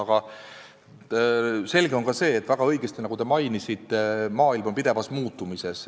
Aga selge on ka see, nagu te väga õigesti mainisite, et maailm on pidevas muutumises.